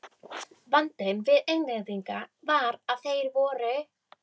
Vandinn við Englendinga var að þeir voru